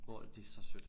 Hvor at det så sødt